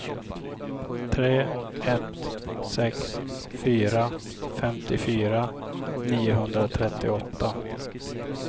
tre ett sex fyra femtiofyra niohundratrettioåtta